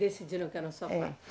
Decidiram que era só quatro.